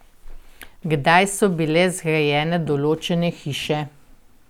Kdaj so bile zgrajene določene hiše?